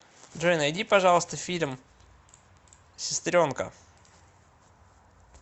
джой найди пожалуйста фильм сестренка